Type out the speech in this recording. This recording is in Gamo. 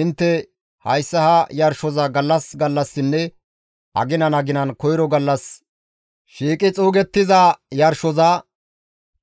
Intte hayssa ha yarshoza gallas gallassinne aginan aginan koyro gallas shiiqi xuugettiza yarshoza,